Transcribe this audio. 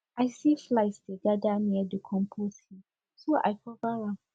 i see flies dey gather near the compost heap so i go cover am